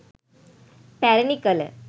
පැරැණි කළ